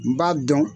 N b'a dɔn